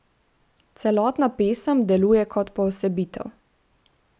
Celotna pesem deluje kot poosebitev.